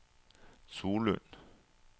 Solund